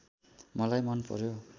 मलाई मन पर्‍यो